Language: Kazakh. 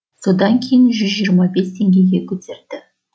содан кейін жүз жиырма бес теңгеге көтерді